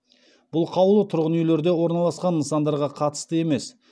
бұл қаулы тұрғын үйлерде орналасқан нысандарға қатысты емес